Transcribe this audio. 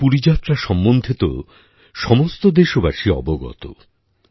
উড়িষ্যার পুরী যাত্রা সম্বন্ধে তো সমস্ত দেশবাসী অবগত